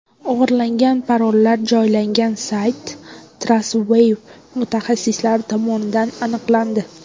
O‘g‘irlangan parollar joylangan sayt Trustwave mutaxassislari tomonidan aniqlandi.